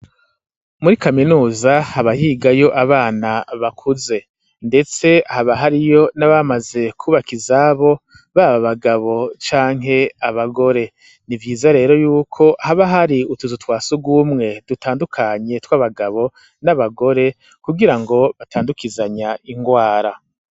Muri kaminuza habahigayo abana bakuze, ndetse haba hariyo n'abamaze kwubakizabo baba bagabo canke abagore ni vyiza rero yuko haba hari utuzu twa si ugumwe dutandukanye tw'abagabo n'abagore kugira ngo batandukizanya ingwara.